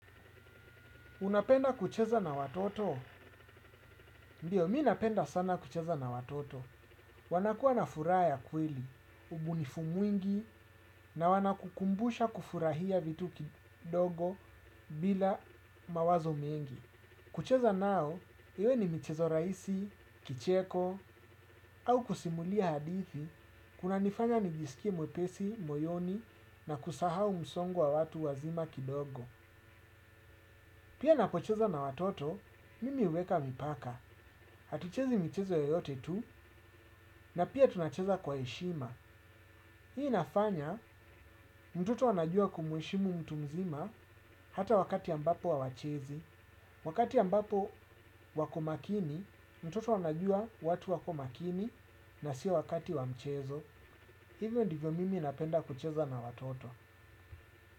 Unapenda kucheza na watoto? Ndiyo, mimi napenda sana kucheza na watoto. Wanakuwa na furaha ya kweli, ubunifu mwingi na wanakukumbusha kufurahia vitu kidogo bila mawazo mengi. Kucheza nao, iwe ni michezo rahisi, kicheko, au kusimulia hadithi, kunanifanya nijisikie mwepesi, moyoni na kusahau msongo wa watu wazima kidogo. Pia ninapocheza na watoto, mimi huweka mipaka. Hatuchezi michezo yoyote tu na pia tunacheza kwa heshima. Hii inafanya, mtoto anajua kumuheshimu mtu mzima hata wakati ambapo hawachezi. Wakati ambapo wako makini, mtoto anajua watu wako makini na sio wakati wa mchezo. Hivyo ndivyo mimi napenda kucheza na watoto.